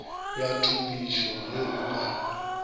ya thupišo ge o ka